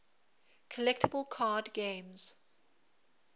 collectible card games